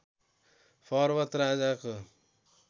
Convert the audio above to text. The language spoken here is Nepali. पर्वत राजाको